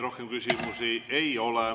Rohkem küsimusi ei ole.